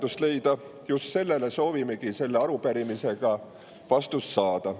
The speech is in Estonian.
Just nendele soovimegi selle arupärimisega vastust saada.